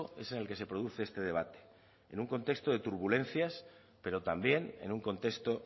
es en el que se produce este debate en un contexto de turbulencias pero también en un contexto